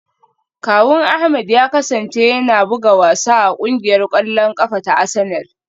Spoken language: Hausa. Kawun Ahmed ya kasance yana buga wasa a kungiyar kwallon kafa ta Arsenal.